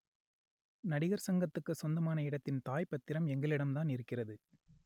நடிகர் சங்கத்துக்கு சொந்தமான இடத்தின் தாய் பத்திரம் எங்களிடம்தான் இருக்கிறது